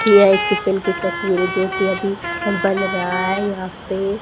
यह एक किचन की तस्वीर जो कि अभी बन रहा है यहां पे--